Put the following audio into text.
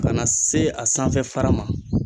Kana se a sanfɛ fara ma.